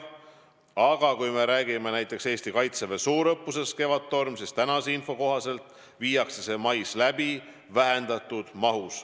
Aga kui me räägime näiteks Eesti Kaitseväe suurõppusest Kevadtorm, siis tänase info kohaselt viiakse see mais läbi vähendatud mahus.